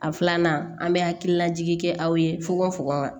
A filanan an bɛ hakililajigin kɛ aw ye fokon fokon ka